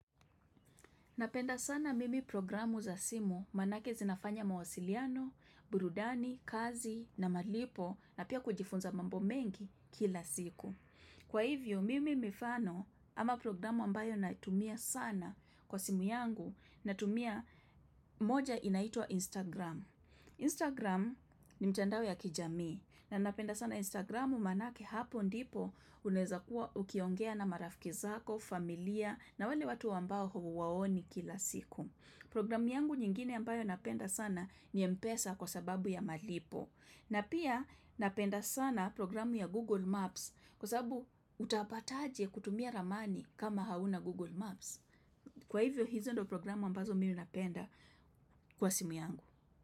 Napenda sana mimi programu za simu manake zinafanya mawasiliano, burudani, kazi na malipo na pia kujifunza mambo mengi kila siku. Kwa hivyo, mimi mifano ama programu ambayo naitumia sana kwa simu yangu natumia moja inaitwa Instagram. Instagram ni mitandao ya kijamii na napenda sana Instagramu manake hapo ndipo Unaeza kuwa ukiongea na marafiki zako, familia na wale watu ambao huwaoni kila siku Programu yangu nyingine ambayo napenda sana ni empesa kwa sababu ya malipo na pia napenda sana programu ya Google Maps Kwa sababu utapataje kutumia ramani kama hauna Google Maps Kwa hivyo hizo ndo programu ambazo mimi napenda kwa simu yangu.